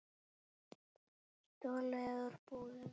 Stolið úr búðum.